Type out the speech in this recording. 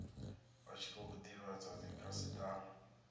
vha tshi khou divhadza dzikhasitama